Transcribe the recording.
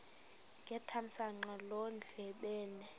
ngethamsanqa loo ndlebende